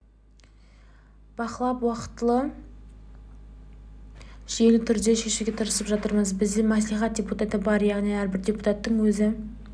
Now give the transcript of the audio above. бақылап уақтылы жүйелі түрде шешуге тырысып жатырмыз бізде мәслихатта депутат бар яғни әрбір депуттатың өзі